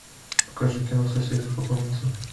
покажи кино соседи по комнате